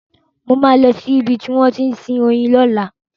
Mo máa lọ sí ibi tí wọ́n ti ń sin oyin lọ́la.